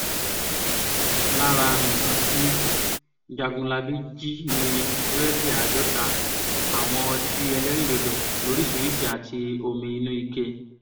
lára nǹkan tí jágunlábí jì ni búrẹ́dì àádọ́ta àwọn ọtí ẹlẹ́rìndòdò lóríṣìíríṣìí àti omi inú ike